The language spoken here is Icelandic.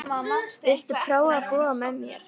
Viltu prófa að búa með mér.